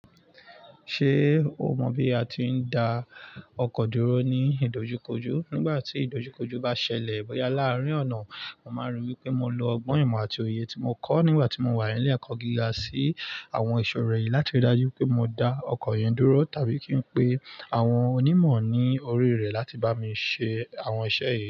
Ṣé o mọ bí a ti ń da ọkọ̀ dúró ní ìdojúkojú? Nígbà tí ìdojúkojúú bá ṣẹlẹ̀, boyà làárín ọ̀nà, mo máa n rí wípé mo lo ọgbọ́n ìmọ̀ àti òye tí mo kọ́ nígbà tí mo wà ní ilé ẹ̀kọ́ gíga sí àwọn iṣọ́ri yìí láti rí dájú wipé mo da ọkọ̀ yẹn dúró tàbí kí n pe àwọn onímọ̀ ní ọri rẹ láti bá mi ṣe àwọn iṣẹ́ yìí.